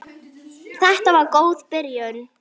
Þetta var góð byrjun.